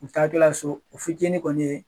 U taa tɔla so o fi kɔni ye.